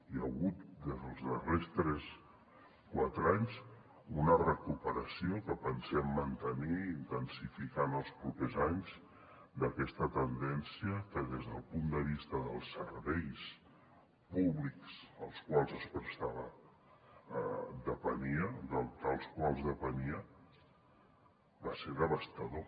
hi ha hagut des dels darrers tres o quatre anys una recuperació que pensem mantenir i intensificar en els propers anys d’aquesta tendència que des del punt de vista dels serveis públics dels quals depenia va ser devastador